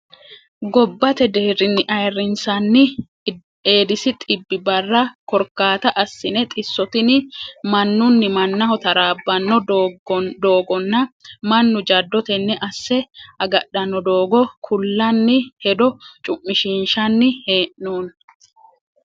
Gobbate deerinni ayirrinsani Edis xibbi barra korkaata assine xisso tini mannuni mannaho tarabbano doogonna mannu jado tene asse agadhano doogo ku'lanni hedo cumishishanni hee'noonni.